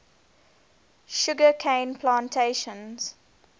sugar cane plantations